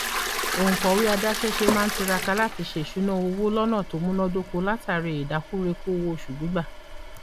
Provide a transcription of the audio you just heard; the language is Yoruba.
òǹkọwé adáṣẹṣe máa ń tiraka láti ṣe ìṣúná owó lọnà tó múnádóko látàrí ìdákùrekú owó oṣù gbígbà